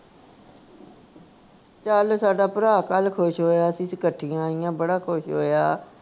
ਚੱਲ ਸਾਡਾ ਭਰਾ ਕੱਲ ਖੁਸ਼ ਹੋਇਆ ਸੀ ਅਸੀਂ ਇਕੱਠੀਆਂ ਆਈਆਂ ਬੜਾ ਖੁਸ਼ ਹੋਇਆ